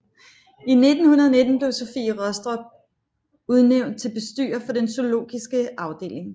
I 1919 blev Sofie Rostrup udnævnt til bestyrer for den zoologiske afdeling